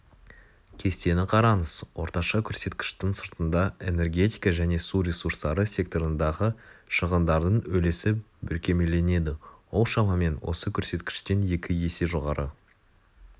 кестені қараңыз орташа көрсеткіштің сыртында энергетика және су ресурстары секторындағы шығындардың үлесі бүркемеленеді ол шамамен осы көрсеткіштен екі есе жоғары